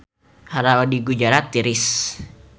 Hawa di Gujarat tiris